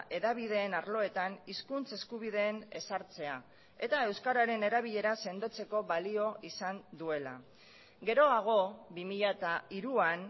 hedabideen arloetan hizkuntz eskubideen ezartzea eta euskararen erabilera sendotzeko balio izan duela geroago bi mila hiruan